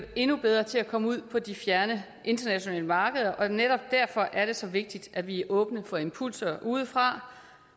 endnu bedre til at komme ud på de fjerne internationale markeder og netop derfor er det så vigtigt at vi er åbne for impulser udefra